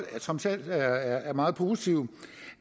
trods alt er meget positive